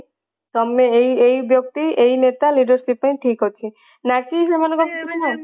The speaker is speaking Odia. ତମେ ଏଇ ଏଇ ବ୍ୟକ୍ତି ଏଇ ନେତା leadership ପାଇଁ ଠିକ ଅଛି ନା କି ସେମାଙ୍କ